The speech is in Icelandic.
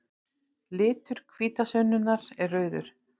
Litur hvítasunnunnar er rauður.